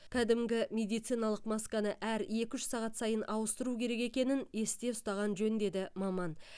кәдімгі медициналық масканы әр екі үш сағат сайын ауыстыру керек екенін есте ұстаған жөн деді маман